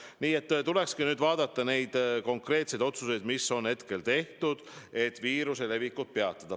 Nii et tulekski vaadata neid konkreetseid otsuseid, mis on seni tehtud, et viiruse levikut peatada.